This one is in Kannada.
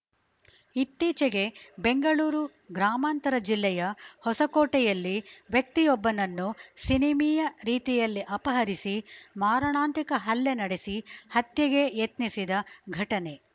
ಇತ್ತೀಚೆಗೆ ಬೆಂಗಳೂರು ಗ್ರಾಮಾಂತರ ಜಿಲ್ಲೆಯ ಹೊಸಕೋಟೆಯಲ್ಲಿ ವ್ಯಕ್ತಿಯೊಬ್ಬನನ್ನು ಸಿನಿಮೀಯ ರೀತಿಯಲ್ಲಿ ಅಪಹರಿಸಿ ಮಾರಣಾಂತಿಕ ಹಲ್ಲೆ ನಡೆಸಿ ಹತ್ಯೆಗೆ ಯತ್ನಿಸಿದ ಘಟನೆ